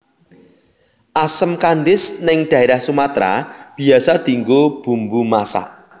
Asem kandis ning daerah Sumatra biasa dinggo bumbu masak